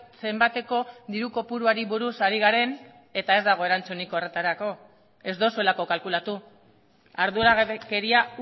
zenbateko diru kopuruari buruz ari garen eta ez dago erantzunik horretarako ez duzuelako kalkulatu arduragabekeria